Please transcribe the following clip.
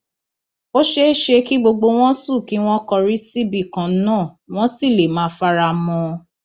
ó ṣeé ṣe kí gbogbo wọn sùn kí wọn kọrí síbìkan náà wọn sì lè má fara mọ ọn